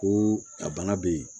Ko a bana bɛ yen